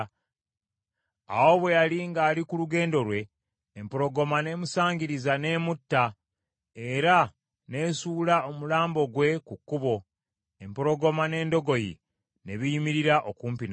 Awo bwe yali ng’ali ku lugendo lwe, empologoma n’emusangiriza n’emutta, era n’esuula omulambo gwe ku kkubo, empologoma n’endogoyi ne biyimirira okumpi nagwo.